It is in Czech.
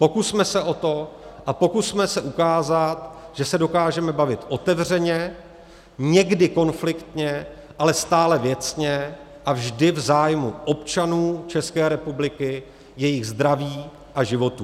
Pokusme se o to a pokusme se ukázat, že se dokážeme bavit otevřeně, někdy konfliktně, ale stále věcně a vždy v zájmu občanů České republiky, jejich zdraví a životů!